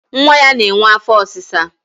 nwa ya na-enwe afọ ọsịsa.